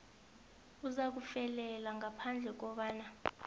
uzakufelela ngaphandle kobana